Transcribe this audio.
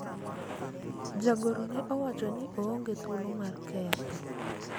jagoro ne owacho ni oonge thuolo mar ketho